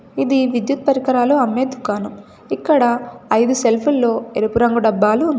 ఇది విద్యుత్ పరికరాలు అమ్మే దుకాణం ఇక్కడ ఐదు సెల్ఫ్ ల్లో ఎరుపు రంగు డబ్బాలు ఉన్నాయి.